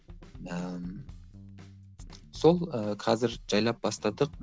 ыыы сол ы қазір жайлап бастадық